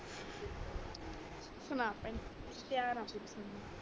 ਸੁਣਾ ਭੈਣੇ ਤਿਆਰ ਆ ਮੈਂ